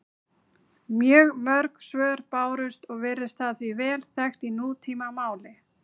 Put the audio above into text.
Mjög mörg svör bárust og virðist það því vel þekkt í nútímamáli.